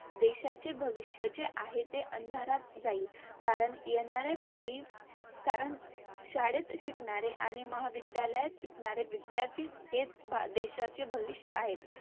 देशाचे भविष्य जे आहे ते अंधारात जाईल. कारण येणारे भावी कारण शाळेत शिकणारे आणि महाविद्यालयात शिकणारे विध्यार्थीच हेच भावी हे देशाचे भविष्य आहेत.